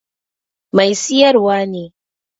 Mai siyarwar ne.